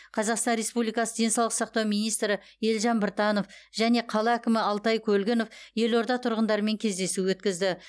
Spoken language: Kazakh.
қазақстан республикасы денсаулық сақтау министрі елжан біртанов және қала әкімі алтай көлгінов елорда тұрғындарымен кездесу өткізді